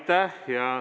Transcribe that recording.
Aitäh!